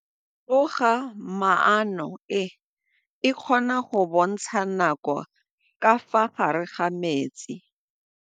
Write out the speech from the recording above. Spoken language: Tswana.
Toga-maanô e, e kgona go bontsha nakô ka fa gare ga metsi.